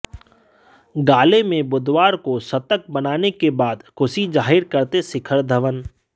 गाले में बुधवार को शतक बनाने के बाद खुशी जाहिर करते शिखर धवन